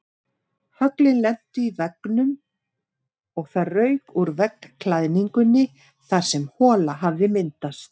Höglin lentu í veggnum og það rauk úr veggklæðningunni þar sem hola hafði myndast.